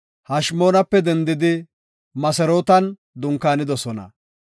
Hashimoonape dendidi Moserootan dunkaanidosona.